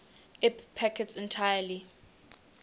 ip packets entirely